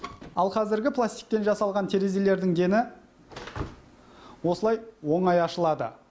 ал қазіргі пластиктен жасалған терезелердің дені осылай оңай ашылады